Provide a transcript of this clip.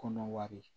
Kɔnɔ wari